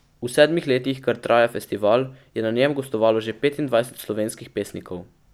V sedmih letih kar traja festival, je na njem gostovalo že petindvajset slovenskih pesnikov.